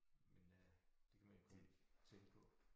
Men øh det kan man jo kun tænke på